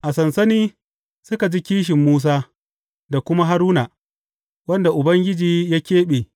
A sansani suka ji kishin Musa da kuma Haruna, wanda Ubangiji ya keɓe.